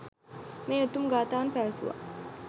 මේ උතුම් ගාථාවන් පැවසුවා.